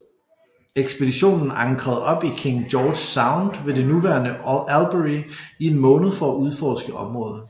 Ekspeditionen ankrede op i King George Sound ved det nuværende Albury i en måned for at udforske området